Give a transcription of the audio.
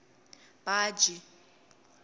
baji